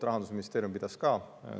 Rahandusministeerium pidas ka.